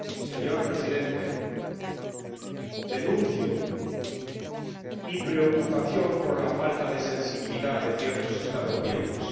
Señor Presidente, manifiesto mi preocupación por la falta de sensibilidad de ciertos Estados miembros.